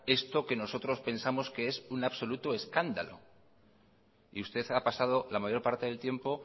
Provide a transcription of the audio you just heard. esto que nosotros pensamos que es un absoluto escándalo y usted ha pasado la mayor parte del tiempo